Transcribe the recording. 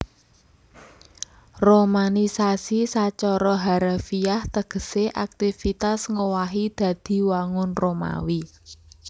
Romanisasi sacara harafiah tegesé aktivitas ngowahi dadi wangun Romawi